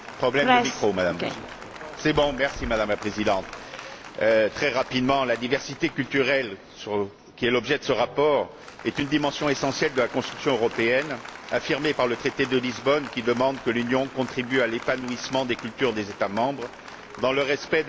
Madame la Présidente, la diversité culturelle qui est l'objet de ce rapport est une dimension essentielle de la construction européenne, affirmée par le traité de Lisbonne, qui demande que l'Union contribue à l'épanouissement des cultures des États membres dans le respect de leur diversité nationale et régionale.